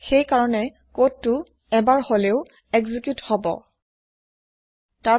সেইকাৰণে কদ এবাৰ এক্জি্ক্যুত এবাৰ হলেও হব